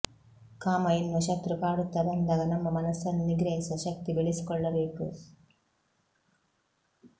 ಕಾಮ ಎನ್ನುವ ಶತ್ರು ಕಾಡುತ್ತಾ ಬಂದಾಗ ನಮ್ಮ ಮನಸ್ಸನ್ನು ನಿಗ್ರಹಿಸುವ ಶಕ್ತಿ ಬೆಳೆಸಿಕೊಳ್ಳಬೇಕು